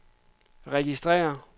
registrér